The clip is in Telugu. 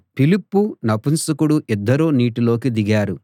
ఫిలిప్పు నపుంసకుడు ఇద్దరూ నీటిలోకి దిగారు